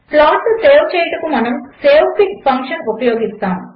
ప్లాట్ను సేవ్ చేయుటకు మనము savefig ఫంక్షన్ ఉపయోగిస్తాము